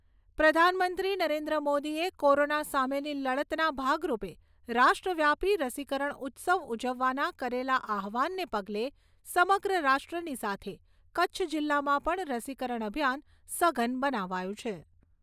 પ્રધાનમંત્રી નરેન્દ્ર મોદીએ કોરોના સામેની લડતના ભાગરૂપે રાષ્ટ્રવ્યાપી રસીકરણ ઉત્સવ ઉજવવાના કરેલા આહ્વાનને પગલે સમગ્ર રાષ્ટ્રની સાથે કચ્છ જિલ્લામાં પણ રસીકરણ અભિયાન સઘન બનાવાયુ છે.